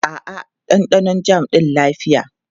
A'a, ɗanɗanon jam ɗin lafiya.